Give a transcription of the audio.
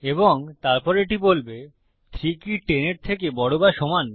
এবং তারপর এটি বলবে 3 কি 10 এর থেকে বড় বা সমান